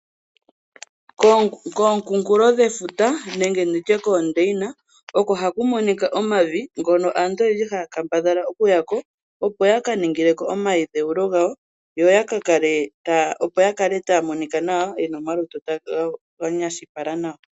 Kookunkulo dhefuta nenge ndi tye koodeyina oko haku monika omavi ngono aantu oyendji haya kambadhala okuya ko, opo ya ka ningile ko omadhewo gawo, opo ya kale taya monika nawa ye na omalutu ga nyashuka nawa.